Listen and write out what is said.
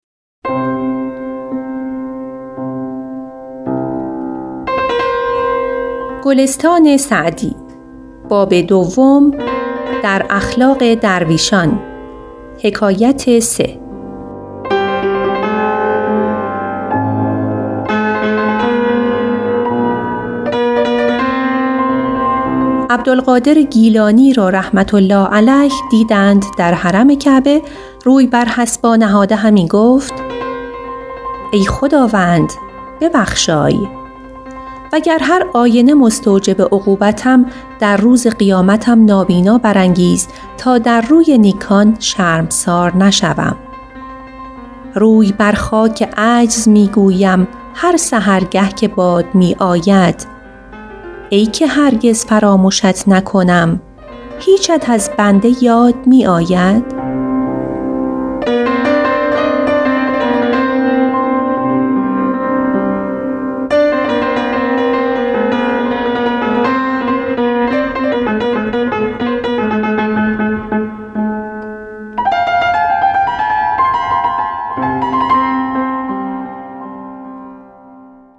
عبدالقادر گیلانی را رحمة الله علیه دیدند در حرم کعبه روی بر حصبا نهاده همی گفت ای خداوند ببخشای وگر هرآینه مستوجب عقوبتم در روز قیامتم نابینا برانگیز تا در روی نیکان شرمسار نشوم روی بر خاک عجز می گویم هر سحرگه که باد می آید ای که هرگز فرامشت نکنم هیچت از بنده یاد می آید